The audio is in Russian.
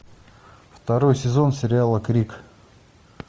второй сезон сериала крик